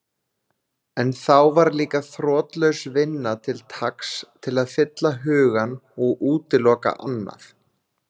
En þá var líka þrotlaus vinna til taks til að fylla hugann og útiloka annað.